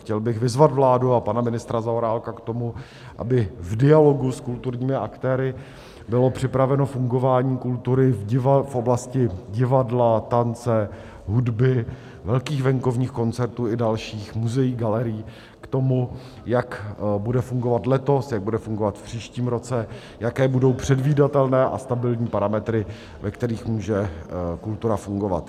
Chtěl bych vyzvat vládu a pana ministra Zaorálka k tomu, aby v dialogu s kulturními aktéry bylo připraveno fungování kultury v oblasti divadla, tance, hudby, velkých venkovních koncertů i dalších, muzeí, galerií, k tomu, jak bude fungovat letos, jak bude fungovat v příštím roce, jaké budou předvídatelné a stabilní parametry, ve kterých může kultura fungovat.